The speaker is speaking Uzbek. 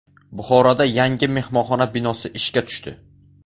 Buxoroda yangi mehmonxona binosi ishga tushdi.